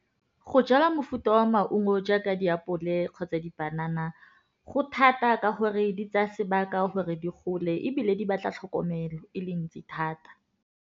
Go jala mofuta wa maungo jaaka diapole kgotsa dipanana go thata ka gore di tsaya sebaka gore di gole, ebile di batla tlhokomelo e le ntsi thata.